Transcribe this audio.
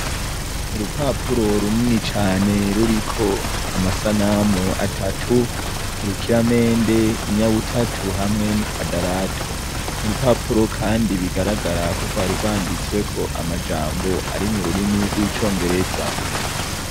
Urupapuro runini cane ruriko amasanamu atatu :urukiramende, inyabutatu, hamwe n'ikwadarato. Urupapuro kandi bagaragara ko rwari rwanditsweko amajambo ari m'ururimi rw'icongereza.